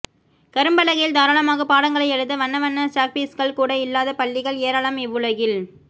கரும்பலகையில் தாரளமாகப் பாடங்களை எழுத வண்ண வண்ண சாக்பீஸ்கள் கூட இல்லாத பள்ளிகள் ஏராளம் இவ்வுலகில்